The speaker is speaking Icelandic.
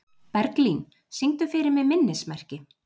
Berglín, syngdu fyrir mig „Minnismerki“.